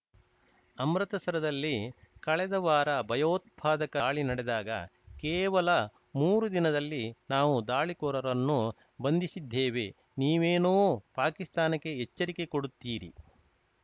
ಅಮೃತಸರದಲ್ಲಿ ಕಳೆದ ವಾರ ಭಯೋತ್ಪಾದಕ ದಾಳಿ ನಡೆದಾಗ ಕೇವಲ ಮೂರು ದಿನದಲ್ಲಿ ನಾವು ದಾಳಿಕೋರರನ್ನು ಬಂಧಿಸಿದ್ದೇವೆ ನೀವೇನೋ ಪಾಕಿಸ್ತಾನಕ್ಕೆ ಎಚ್ಚರಿಕೆ ಕೊಡುತ್ತೀರಿ